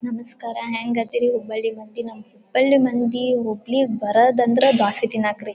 ನಮಸ್ಕಾರ ಹೆಂಗದೀರಿ? ಹುಬ್ಬಳ್ಳಿ ಮಂದಿ ನಮ್ಮ ಹುಬ್ಬಳ್ಳಿ ಮಂದಿ ಹುಬ್ಬಳ್ಳಿಗ್ ಬರೋದಂದ್ರ ದ್ವಾಸಿ ತಿನ್ನಾಕ್ರಿ.